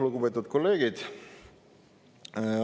Lugupeetud kolleegid!